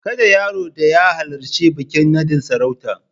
Kada yaron da ya halarci bikin naɗin sarautar.